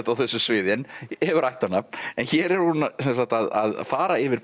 á þessu sviði en hefur ættarnafn hér er hún að fara yfir